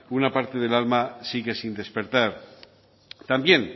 una parte del alma sigue sin despertar también